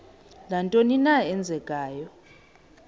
nantoni na eenzekayo